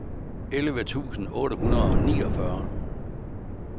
elleve tusind otte hundrede og niogfyrre